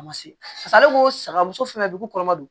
A ma se ale ko saya muso fana ko kɔrɔma don